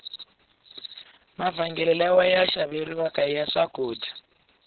mavhengele lawa xaveriwaka iya swakudya